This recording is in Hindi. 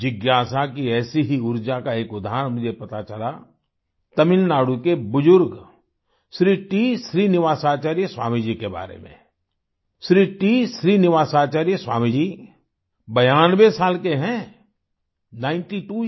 जिज्ञासा की ऐसी ही उर्जा का एक उदाहरण मुझे पता चला तमिलनाडु के बुजुर्ग श्री टी श्रीनिवासाचार्य स्वामी जी के बारे में श्री टी श्रीनिवासाचार्य स्वामी जी 92 बयानबे साल के हैं नाइनटी त्वो Years